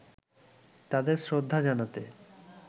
তাদের শ্রদ্ধা জানাতে